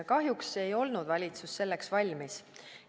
Kahjuks ei olnud valitsus selleks valmis.